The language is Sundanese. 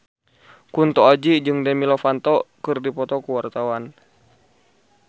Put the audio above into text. Kunto Aji jeung Demi Lovato keur dipoto ku wartawan